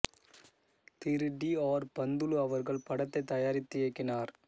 திரு T R Panthulu அவர்கள் படத்தைத் தயாரித்து இயக்கினார்